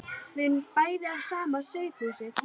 Við erum bæði af sama sauðahúsi.